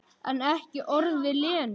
En ekki orð við Lenu.